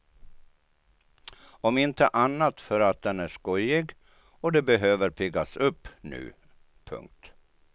Om inte annat för att den är skojig och de behöver piggas upp nu. punkt